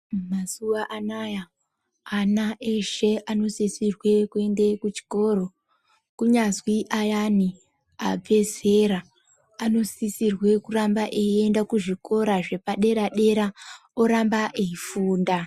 Mazuwa anaya ana eshe anosisirwe kuende kuchikora kunyazwi ayana abve zera anosisirwe kuramba eiende kuzvikora zvepadera dera oramba eifunda.